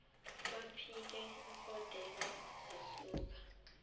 baphike igondelo zisuka